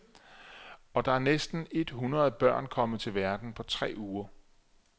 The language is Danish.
Og der er næsten et hundrede børn kommet til verden på tre uger.